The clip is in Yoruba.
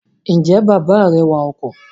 Ǹjẹ́ bàbá rẹ wa ọkọ̀?